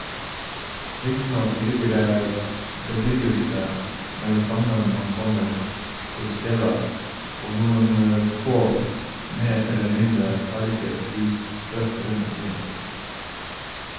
Riktignok ligger det litt bebyggelse med det samme man kommer til stedet og noen få mer eller mindre ferdigstilte hus sprett rundt omkring.